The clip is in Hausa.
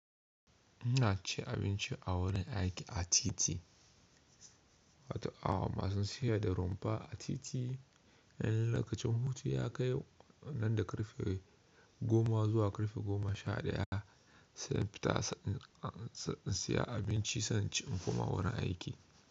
Ina cin abinci a wurin aiki a titi, masu siyar da romfa a titi eh lokacin hutu ya kai nan da karfe goma zuwa karfe goma sha ɗaya, sai in fita in saya abinci sai in ci in koma wurin aiki.